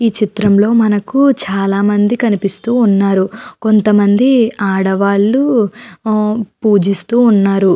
ఈ చిత్రం లో మనకు చాలా మంది కనిపిస్తూ ఉన్నారు కొంతమంది ఆడవాళ్ళు ఆ పూజిస్తూ ఉన్నారు.